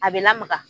A bɛ lamaga